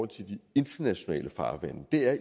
til de internationale farvande det er